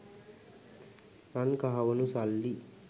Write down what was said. රන් කහවනු සල්ලි